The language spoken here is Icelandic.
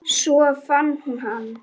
Svo fann hún hann.